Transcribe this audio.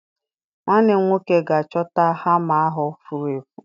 Nwanne m nwoke ga-achọta hama ahụ furu efu.